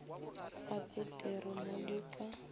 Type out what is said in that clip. ga peteri mo di ka